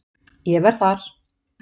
Ég verð þar.